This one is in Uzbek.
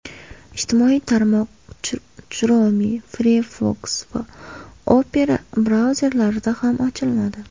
Ijtimoiy tarmoq Chrome, Firefox va Opera brauzerlarida ham ochilmadi.